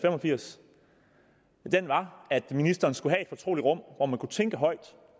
og firs var at ministeren skulle have et fortroligt rum hvor man kunne tænke højt